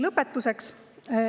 Lõpetuseks.